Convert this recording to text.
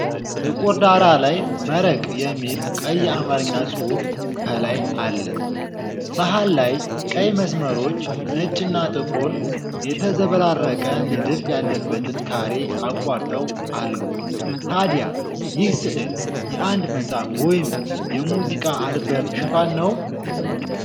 ጥቁር ዳራ ላይ "መረቅ" የሚል ቀይ የአማርኛ ጽሑፍ ከላይ አለ። መሃል ላይ ቀይ መስመሮች ነጭና ጥቁር የተዘበራረቀ ንድፍ ያለበትን ካሬ አቋርጠው አሉ። ታዲያ ይህ ሥዕል የአንድ መጽሐፍ ወይም የሙዚቃ አልበም ሽፋን ነው?